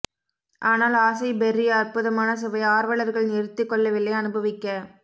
ஆனால் ஆசை பெர்ரி அற்புதமான சுவை ஆர்வலர்கள் நிறுத்திக்கொள்ளவில்லை அனுபவிக்க